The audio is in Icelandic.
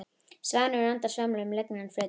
Svanir og endur svamla um lygnan flötinn.